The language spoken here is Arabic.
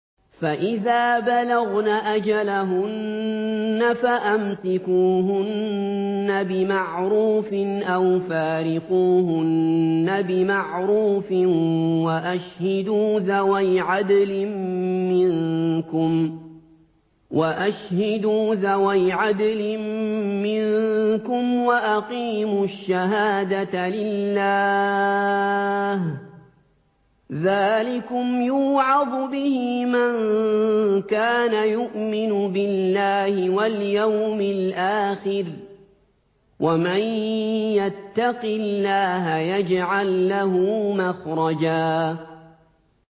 فَإِذَا بَلَغْنَ أَجَلَهُنَّ فَأَمْسِكُوهُنَّ بِمَعْرُوفٍ أَوْ فَارِقُوهُنَّ بِمَعْرُوفٍ وَأَشْهِدُوا ذَوَيْ عَدْلٍ مِّنكُمْ وَأَقِيمُوا الشَّهَادَةَ لِلَّهِ ۚ ذَٰلِكُمْ يُوعَظُ بِهِ مَن كَانَ يُؤْمِنُ بِاللَّهِ وَالْيَوْمِ الْآخِرِ ۚ وَمَن يَتَّقِ اللَّهَ يَجْعَل لَّهُ مَخْرَجًا